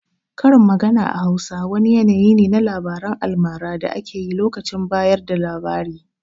Karin magana a Hausa wani yanayi ne na labaran almara da ake yi lokacin bayar da labari.